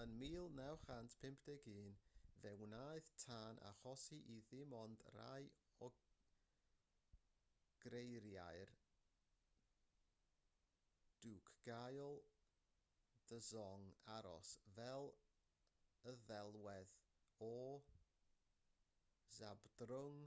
yn 1951 fe wnaeth tân achosi i ddim ond rhai o greiriau'r dukgyal dzong aros fel y ddelwedd o zhabdrung